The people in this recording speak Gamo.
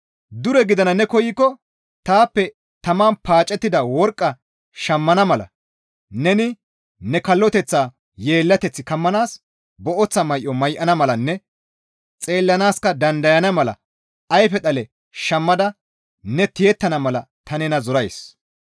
Dure gidana ne koykko taappe taman paacettida worqqa shammana mala neni ne kalloteththaa yeellateth kammanaas booththa may7o may7ana malanne xeellanaaska dandayana mala ayfe dhale shammada ne tiyettana mala ta nena zorays.